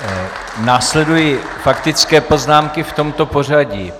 Následují faktické poznámky v tomto pořadí.